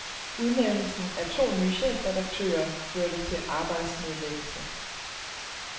Udnævnelsen af to nye chefredaktører førte til arbejdsnedlæggelse.